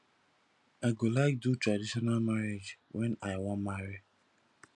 i go like do traditional marriage wen i wan marry